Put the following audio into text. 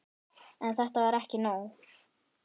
En þetta var ekki nóg.